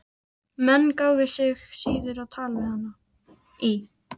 Menn gáfu sig síður á tal við hana í